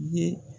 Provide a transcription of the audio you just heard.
Ye